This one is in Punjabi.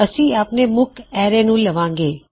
ਅਸੀਂ ਆਪਣੇ ਮੁਖ ਐਰੇ ਨੂੰ ਲਵਾਂਗੇ